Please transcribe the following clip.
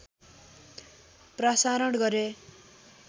प्रसारण गरे